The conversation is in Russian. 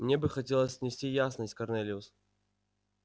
мне бы хотелось внести ясность корнелиус